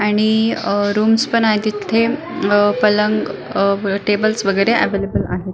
आणि अह रूम्स पण आहे तिथे अह पलंग टेबल्स वेगेरे एवलेबल आहे.